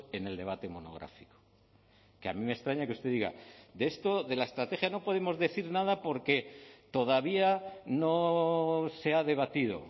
en el debate monográfico que a mí me extraña que usted diga de esto de la estrategia no podemos decir nada porque todavía no se ha debatido